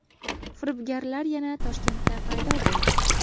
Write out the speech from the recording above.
Firibgarlar yana Toshkentda paydo bo‘ldi.